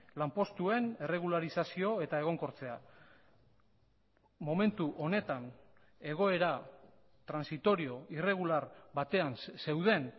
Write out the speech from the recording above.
lanpostuen erregularizazio eta egonkortzea momentu honetan egoera transitorio irregular batean zeuden